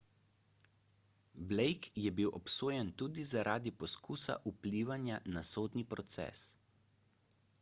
blake je bil obsojen tudi zaradi poskusa vplivanja na sodni proces